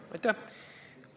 Aitäh!